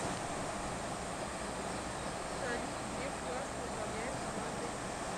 салют греф классно управляет командой